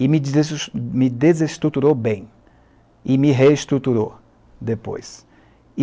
e me deses desestruturou bem e me reestruturou depois.